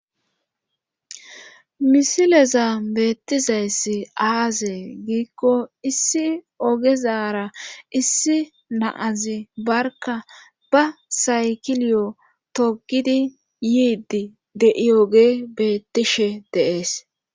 Misileza beettizayssi aaze giikko issi ogezara issi naazi barka ba saykiliyo togidi yiidi de'iyoge beettishe deees.